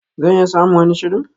Zan iya samun wani shirin.